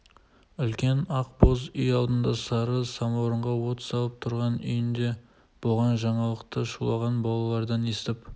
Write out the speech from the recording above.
үлкен ақ боз үй алдында сары самауырға от салып тұрған үйінде болған жаңалықты шулаған балалардан естіп